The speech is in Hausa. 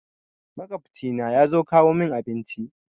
Maƙwabci na yazo kawo mun abinci